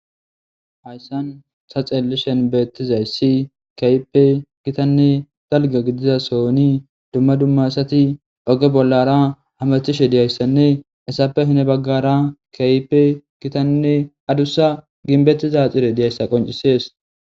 Hayssan sa xeli shenbeettizayssi kayipe gitanne galga gidiza sooni dumma dummasati oge bollara hamathishe diyayssanne esappe hine baggara kayipe gitanne adussa ginbettiza xire diyayssa qoncisees.